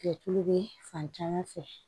Kɛ tulu bɛ fan caman fɛ